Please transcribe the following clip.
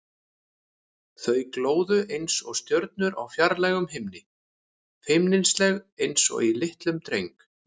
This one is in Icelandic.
Þau glóðu einsog stjörnur á fjarlægum himni, feimnisleg einsog í litlum dreng.